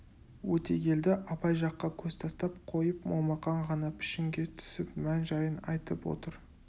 өтегелді абай жаққа көз тастап қойып момақан ғана пішінге түсіп мән-жайын айтып отыр